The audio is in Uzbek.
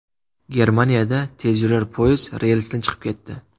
Germaniyada tezyurar poyezd relsdan chiqib ketdi .